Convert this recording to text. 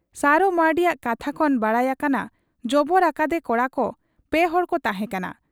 ᱥᱟᱨᱚ ᱢᱟᱺᱨᱰᱤ ᱭᱟᱜ ᱠᱟᱛᱷᱟ ᱠᱷᱚᱱ ᱵᱟᱰᱟᱭ ᱟᱠᱟᱱᱟ ᱡᱚᱵᱚᱨ ᱟᱠᱟᱫ ᱮ ᱠᱚᱲᱟ ᱯᱮ ᱦᱚᱲᱠᱚ ᱛᱟᱦᱮᱸ ᱠᱟᱱᱟ ᱾